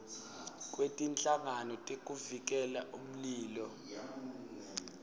kwetinhlangano tekuvikela umlilo